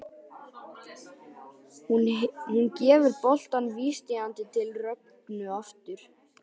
Hún gefur boltann vísvitandi til Rögnu aftur.